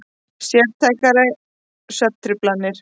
Sértækar svefntruflanir.